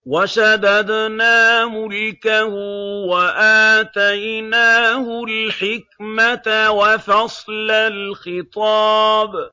وَشَدَدْنَا مُلْكَهُ وَآتَيْنَاهُ الْحِكْمَةَ وَفَصْلَ الْخِطَابِ